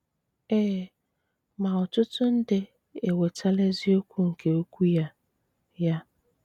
Ee, ma ọ̀tụtụ̀ ndị enwetala eziókwu nkè okwù ya. ya.